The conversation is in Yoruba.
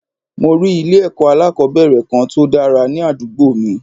Mo rí ilé èkó alákòóbèrè Kan tòdára ní àdúgbò mi